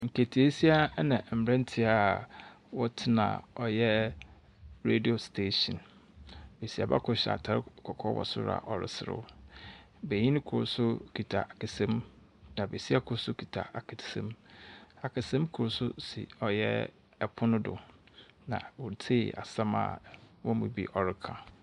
Nketeesia na mberantseɛ a wɔtsena ɔyɛ radio station. Besiaba kor hyɛ atar kɔkɔɔ wɔ sor a ɔreserew. Benyin kor nso kita kasam, na besia kor nso kita akasam. Akasam kor nso si ɔyɛ pono do, na woritsie asɛm a wɔn mu bi ɔreka.